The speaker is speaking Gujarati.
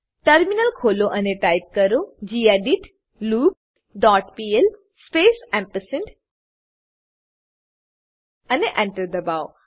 ટર્મિનલ ખોલો અને ટાઈપ કરો gedit loop dot pl space ampersand અને Enter એન્ટર દબાવો